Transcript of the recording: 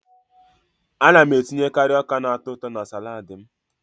Ana m etinyekari ọka na-atọ ụtọ na salaadi m.